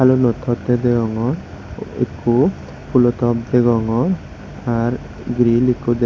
phulo tottey degongor ikko phulo top degongor ar grill ikko deg.